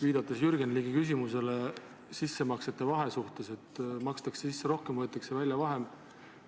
Viitan siin Jürgen Ligi küsimusele sissemaksete ja väljavõetava summa vahe kohta: makstakse sisse rohkem ja võetakse välja vähem.